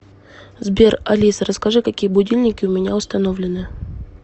сбер алиса расскажи какие будильники у меня установлены